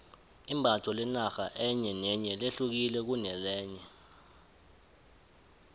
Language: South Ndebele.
imbatho lenarha enye nenye lehukile kunelenye